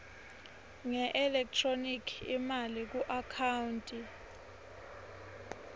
ngeelekthroniki imali kuakhawunti